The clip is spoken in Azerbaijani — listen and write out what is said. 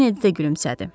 Kennedy də gülümsədi.